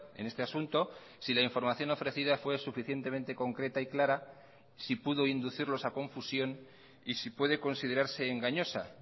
en este asunto si la información ofrecida fue suficientemente concreta y clara si pudo inducirlos a confusión y si puede considerarse engañosa